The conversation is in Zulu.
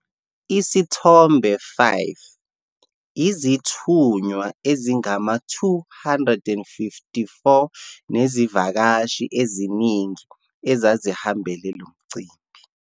Isithombe 5- Izithunywa ezingama-254 nezivakashi eziningi ezazihambele lo mcimbi.